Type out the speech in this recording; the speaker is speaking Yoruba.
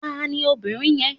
Tani obìnrin yẹn?